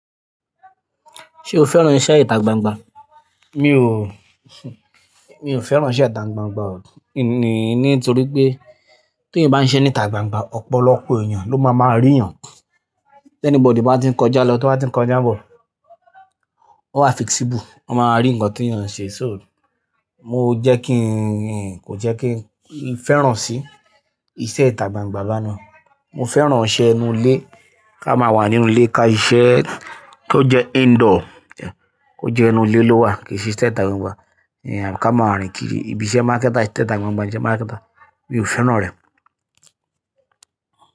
Ṣé o fẹ́ràn iṣẹ́ ìta gbangba? Mi ò, mi ò fẹ́ràn iṣẹ́ ìta gbangba o. Ni-nítorí pé tó ti bá ń ṣe níta gbangba, ọ̀pọ̀lọpọ̀ èèyàn ló máa máa rí èèyàn. Tẹ́níbọ̀dì bá ti ń kọjá lọ, tó bá ti ń kọjá bọ̀, ó wà fixible, ó máa rí ǹkan tí èèyàn ń ṣe. So, mo jẹ́ kí n kò jẹ́ kí n fẹ́ràn sí iṣẹ́ ìta gbangba lánàá. Mo fẹ́ràn iṣẹ́ inú ilé. Ká máa wà nínú ilé ka iṣẹ́ tó jẹ́ indoor jẹ́, kó jẹ́ inú ilé ló wà kìí sí iṣẹ́ ìta gbangba. Ìyẹn ká máa rin kiri, ìbíṣẹ́ mákẹ́ta, ise ìta gbangba, ìṣe mákẹta, mi ò fẹ́ràn re.